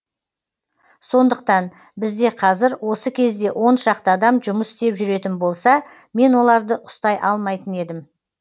сондықтан бізде қазір осы кезде он шақты адам жұмыс істеп жүретін болса мен оларды ұстай алмайтын едім